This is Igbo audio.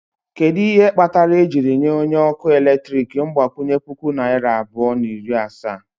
Kedu ihe kpatara e jiri nye onye ọkụ eletrik mgbakwunye puku naira abụọ na iri asaa?